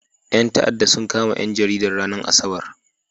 Ƴan ta'addan sun kama ɗan jaridan, ranar asabar.